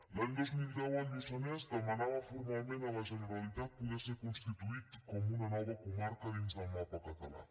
l’any dos mil deu el lluçanès demanava formalment a la generalitat poder ser constituït com una nova comarca dins del mapa català